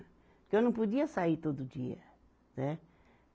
Porque eu não podia sair todo dia, né?